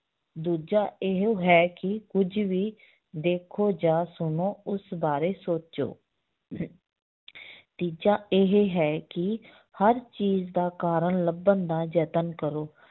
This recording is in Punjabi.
ਦੂਜਾ ਇਹ ਹੈ ਕਿ ਕੁੱਝ ਵੀ ਦੇਖੋ ਜਾਂ ਸੁਣੋ ਉਸ ਬਾਰੇ ਸੋਚੋ ਤੀਜਾ ਇਹ ਹੈ ਕਿ ਹਰ ਚੀਜ਼ ਦਾ ਕਾਰਨ ਲੱਭਣ ਦਾ ਯਤਨ ਕਰੋ